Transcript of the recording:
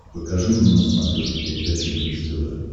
покажи мне на смотрешке передачу бридж тв